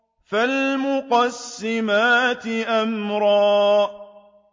فَالْمُقَسِّمَاتِ أَمْرًا